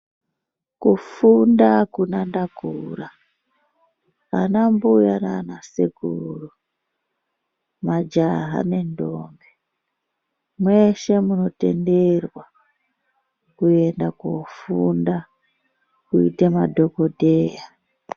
Kufunda hakuna ndakura anambuya nanasekuru, majaha nendombi, mese munotenderwa kuenda kofunda kuita madhogodheya.